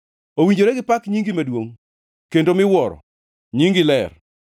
Owinjore gipak nyingi maduongʼ kendo miwuoro, nyinge ler.